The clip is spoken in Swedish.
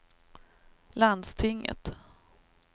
landstinget